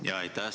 Aitäh!